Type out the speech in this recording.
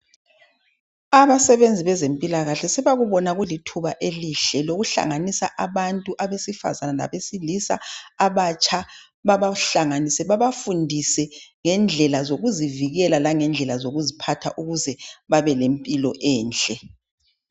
Abasebenzi bezempilakahle sebakubona kulithuba elihle lokuhlanganisa abantu abesifazana labesilisa abatsha babahlanganise babafundise ngendlela zokuzivikela lendlela zokuziphatha ukuze babe lempilo enhle